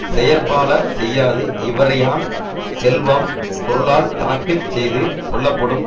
செயற்பால செய்யாது இவறியான் செல்வம் பொருளால் தனக்கு செய்து கொள்ளப்படும்